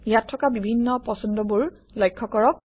ইয়াত থকা বিভিন্ন পছন্দবোৰ লক্ষ্য কৰক